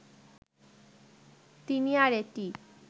তিনি আর এটি